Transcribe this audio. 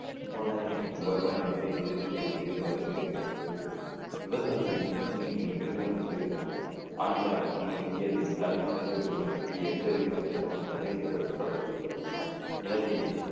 முகலாய வருவாய் அமைப்பை கிழக்கிந்திய company மறுசீரமைப்போடு விவசாயிகளின் நிதி சுமைகள் பெரிதும் அதிகரித்தன ஆங்கில ஆட்சிக்கு முன் இந்தியாவில் தனி சொத்துரிமையை பற்றி எந்த விரிவான திட்டமும் நடைமுறைப்படுத்தப்படவில்லை நிலத்தை